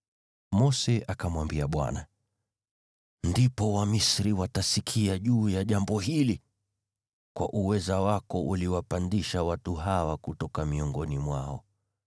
Mose akamwambia Bwana , “Ndipo Wamisri watasikia juu ya jambo hili! Kwa uweza wako uliwapandisha watu hawa kutoka miongoni mwao.